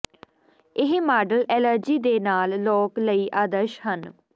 ਇਹ model allergy ਦੇ ਨਾਲ ਲੋਕ ਲਈ ਆਦਰਸ਼ ਹਨ